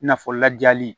I n'a fɔ lajali